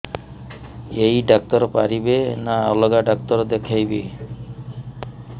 ଏଇ ଡ଼ାକ୍ତର ପାରିବେ ନା ଅଲଗା ଡ଼ାକ୍ତର ଦେଖେଇବି